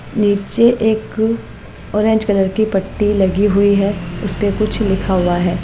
नीचे एक orange colour की पट्टी लगी हुई है उस पे कुछ लिखा हुआ है।